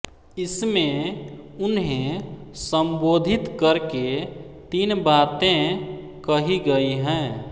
इसमें उन्हें सम्बोधित करके तीन बातें कही गई हैं